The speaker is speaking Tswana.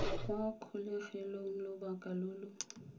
kwa kgolegelong lobaka lo lo